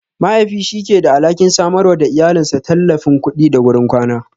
Mahaifi shi yake da alhakin samarwa da iyalinsa tallafin kuɗi da gurin kwana.